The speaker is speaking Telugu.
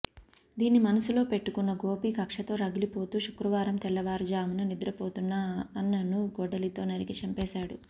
దీన్ని మనసులో పెట్టుకున్న గోపి కక్షతో రగిలిపోతూ శుక్రవారం తెల్లవారు జామున నిద్రపోతున్న అన్నను గొడ్డలితో నరికి చంపేశాడు